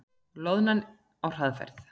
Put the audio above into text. Loðnan á hraðferð